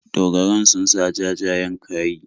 Dogaran sun sa jajayen kayi.